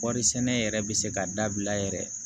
Kɔɔri sɛnɛ yɛrɛ bɛ se ka dabila yɛrɛ